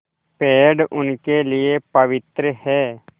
पेड़ उनके लिए पवित्र हैं